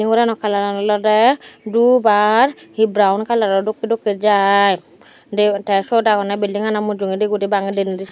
gorano kalaran olode dub ar he brawon kalaro dokkey dokkey jai de te siyot agonney bildingano mujungendi guri bange denedi.